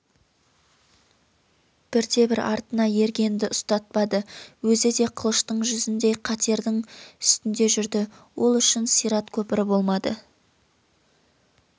бірде-бір артына ергенді ұстатпады өзі де қылыштың жүзіндей қатердің үстінде жүрді ол үшін сират көпірі болмады